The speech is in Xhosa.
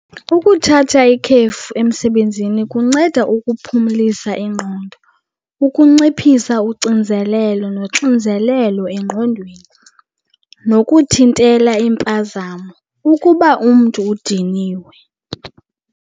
Ukuthatha ikhefu emsebenzini kunceda ukuphumlisa ingqondo, ukunciphisa ucinzelelo noxinzelelo engqondweni, nokuthintela iimpazamo ukuba umntu udiniwe.